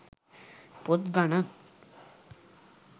පොත් ගණන්.